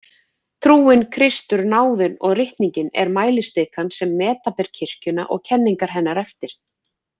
Trúin, Kristur, náðin og ritningin er mælistikan sem meta ber kirkjuna og kenningar hennar eftir.